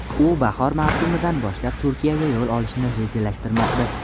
U bahor mavsumidan boshlab Turkiyaga yo‘l olishni rejalashtirmoqda.